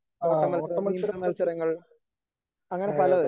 ഓട്ടമൽസരം, നീന്തൽ മത്സരങ്ങൾ അങ്ങനെ പലത്.